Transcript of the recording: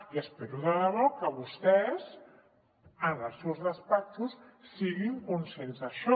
i espero de debò que vostès en els seus despatxos siguin conscients d’això